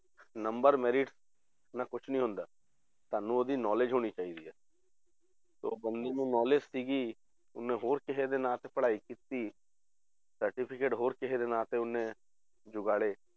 Number merit ਨਾਲ ਕੁਛ ਨੀ ਹੁੰਦਾ ਤੁਹਾਨੂੰ ਉਹਦੀ knowledge ਹੋਣੀ ਚਾਹੀਦੀ ਹੈ ਤੇ ਉਹ ਬੰਦੇ ਨੂੰ knowledge ਸੀਗੀ, ਉਹਨੇ ਹੋਰ ਕਿਸੇ ਦੇ ਨਾਂ ਤੇ ਪੜ੍ਹਾਈ ਕੀਤੀ certificate ਹੋਰ ਕਿਸੇ ਦੇ ਨਾਂ ਤੇ ਉਹਨੇ ਜੁਗਾੜੇ